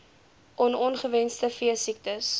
on ongewenste veesiektes